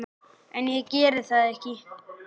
En ég geri það ekki.